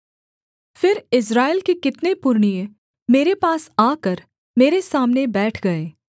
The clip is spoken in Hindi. फिर इस्राएल के कितने पुरनिये मेरे पास आकर मेरे सामने बैठ गए